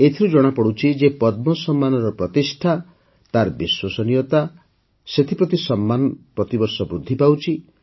ଏଥିରୁ ଜଣାପଡ଼େ ଯେ ପଦ୍ମ ସମ୍ମାନର ପ୍ରତିଷ୍ଠା ତାର ବିଶ୍ୱସନୀୟତା ସେଥିପ୍ରତି ସମ୍ମାନ ପ୍ରତିବର୍ଷ ବୃଦ୍ଧି ପାଉଛି